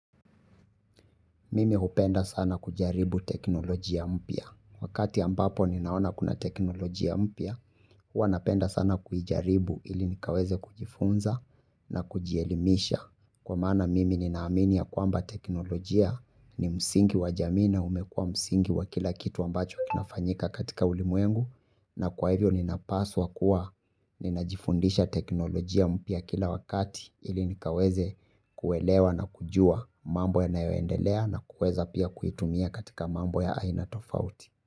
Mimi hupenda sana kujaribu teknolojia mpya. Wakati ambapo ninaona kuna teknolojia mpya, huwa napenda sana kujaribu ili nikaweze kujifunza na kujielimisha. Kwa maana mimi ninaamini ya kwamba teknolojia ni msingi wa jamii na, umekuwa msingi wa kila kitu ambacho kinafanyika katika ulimwengu, na kwa hivyo nina paswa kuwa ninajifundisha teknolojia mpya kila wakati. Ili nikaweze kuelewa na kujua mambo yanayoendelea na kuweza pia kuitumia katika mambo ya aina tofauti.